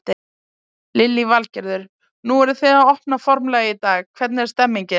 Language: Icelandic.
Lillý Valgerður: Nú eru þið að opna formlega í dag, hvernig er stemningin?